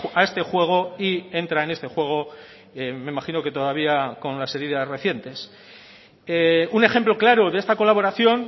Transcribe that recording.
a este juego y entra en este juego me imagino que todavía con las heridas recientes un ejemplo claro de esta colaboración